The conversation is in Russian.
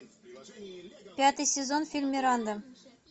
пятый сезон фильм миранда